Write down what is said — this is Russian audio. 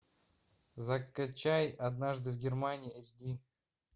закачай однажды в германии эйч ди